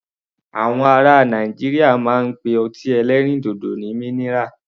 Àwọn ará Nàìjíríà máa ń pe ọtí ẹlẹ́rìndòdò ní minira.